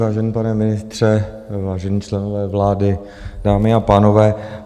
Vážený pane ministře, vážení členové vlády, dámy a pánové.